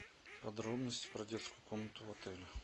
подробности про детскую комнату в отеле